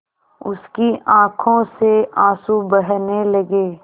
उसकी आँखों से आँसू बहने लगे